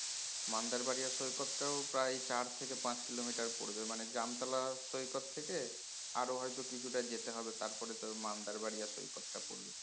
মান্দার বাড়িয়ে সৈকতটাও প্রায় চার থেকে পাঁচ kilometer পড়বে মানে জামতলা সৈকত থেকে আরো হয়তো কিছু টা যেতে হবে তারপর তোর মান্দার বাড়িয়া সৈকতটা পড়বে